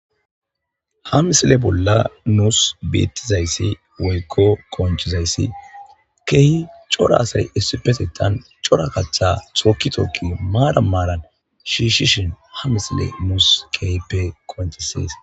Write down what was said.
Ha misile bolla nuussi beettizays woykko qonccizays keehi cora asay issippe sittan cora kaththa tookki tookki maatan maaran shiishshin ha misiley nuusi keehippe qonccisees.